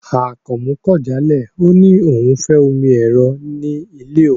Akànmú kò jálẹ̀, ọ ni ọ̀un ó fẹ́ omi èró̀ ní ilẹ̀ ọ̀un.